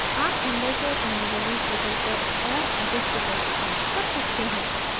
आप angles और अन्य values बदलकर और अधिक effects प्राप्त कर सकते हैं